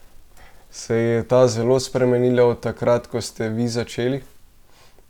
Se je ta zelo spremenila od takrat, ko ste vi začeli?